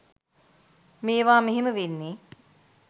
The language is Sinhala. මේවා මෙහෙම වෙන්නේ.